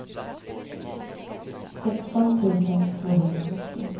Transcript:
sexton tusen tvåhundranittio